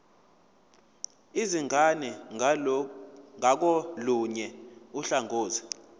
izingane ngakolunye uhlangothi